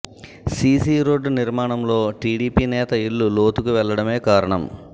CC road నిర్మాణంలో టీడీపీ నేత ఇల్లు లోతుకు వెళ్లడమే కారణం